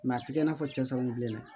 a tɛ kɛ i n'a fɔ cɛsiri bilenna